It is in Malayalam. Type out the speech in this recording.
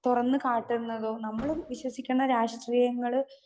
സ്പീക്കർ 2 തുറന്നുകാട്ടുന്നത് നമ്മള് വിശ്വസിക്കണ രാഷ്ട്രീയങ്ങള്